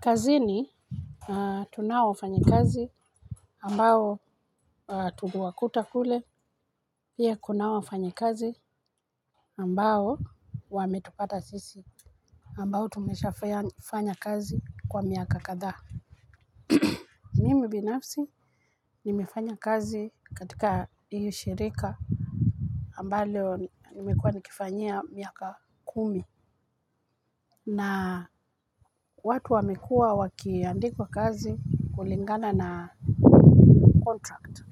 Kazini, tunao wafanyikazi ambao tume wakuta kule pia kunao wafanyikazi ambao wametupata sisi. Ambao tumeshafanya kazi kwa miaka kadhaa. Mimi binafsi, nimefanya kazi katika hiyo shirika ambayo nimekuwa nikifanyia miaka kumi. Na watu wamekua wakiandikwa kazi kulingana na kontrakt.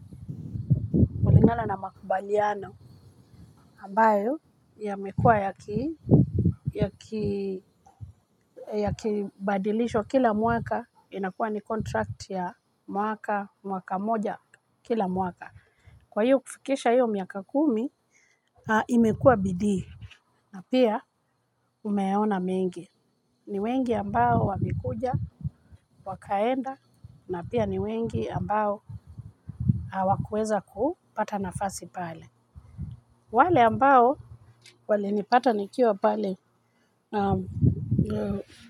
Kulingana na makubaliano ambayo yamekua yaki yakibadilishwa kila mwaka inakuwa ni kontrakt ya mwaka moja kila mwaka. Kwa hiyo kufikisha hiyo miaka kumi imekua bidii na pia nimeona mengi. Ni wengi ambao wamekuja wakaenda na pia ni wengi ambao hawakuweza kupata nafasi pale. Wale ambao walinipata nikiwa pale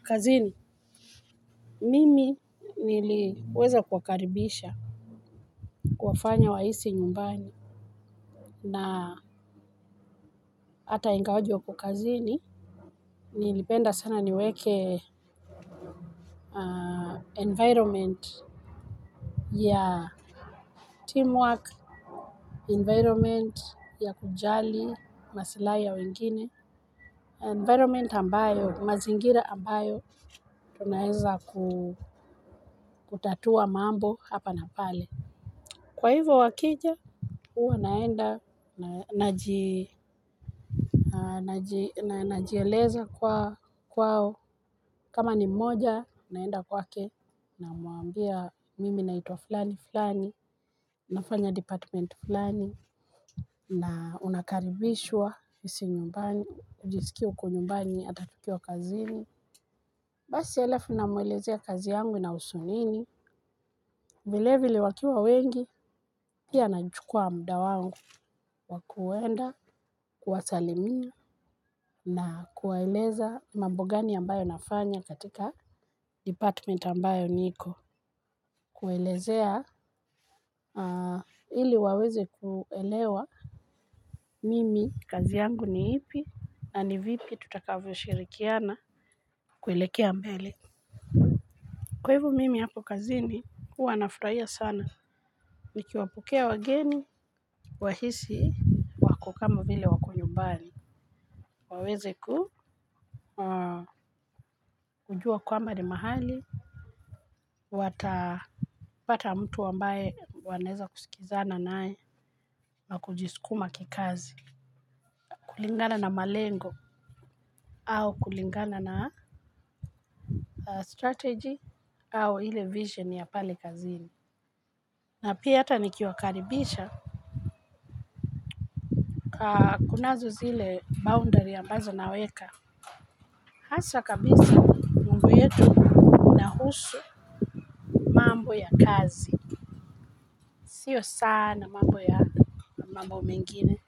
kazini, mimi niliweza kuwakaribisha, kuwafanya wahisi nyumbani na hata ingawaje wako kazini, nilipenda sana niweke environment ya teamwork, environment ya kujali, masilahi ya wengine. Environment ambayo, mazingira ambayo, tunaeza kutatua mambo hapa na pale. Kwa hivo wakija huwa naenda, najieleza kwao. Kama ni mmoja, naenda kwake namwambia mimi naitwa fulani fulani nafanya department fulani na unakaribishwa hisi nyumbani jiskie uko nyumbani hata ukiwa kazini. Basi alafu namwelezea kazi yangu ina husu nini vilevile wakiwa wengi pia nachukua muda wangu wa kuenda kuwasalimia na kuwaeleza mambo gani ambayo nafanya katika department ambayo niko. Kuwa elezea ili waweze kuelewa mimi kazi yangu ni ipi na ni vipi tutakavyo shirikiana kuelekea mbele. Kwa hivyo mimi hapo kazini kuwa nafurahia sana nikiwapokea wageni wahisi wako kama vile wako nyumbani waweze ku kujua kwamba ni mahali watapata mtu ambaye wanaeza kusikizana naye na kujiskuma kikazi. Kulingana na malengo au kulingana na strategy au ile vision ya pale kazini. Na pia hata nikiwakaribisha pa kunazo zile boundary ambazo naweka hasa kabisa mambo yetu inahusu mambo ya kazi. Sio sana mambo ya mambo mengine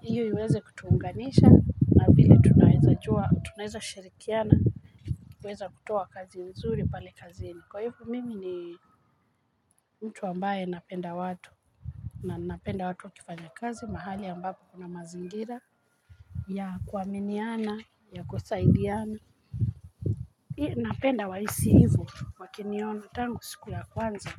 hiyo iweze ku tuunganisha na vile tunaweza jua tunaweza shirikiana kuweza kutoa kazi mzuri pale kazini. Kwa hivo mimi ni mtu ambaye napenda watu. Na napenda watu wakifanya kazi mahali ambapo kuna mazingira ya kuaminiana ya kusaidiana napenda wahisi hivo wakiniona tango siku ya kwanza.